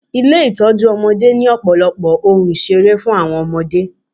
Ilé Ìtọ́jú ọmọdé ni ọ̀pọ̀lọpọ̀ ohun ìṣeré fún àwọn ọmọdé.